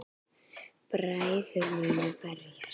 Bræður munu berjast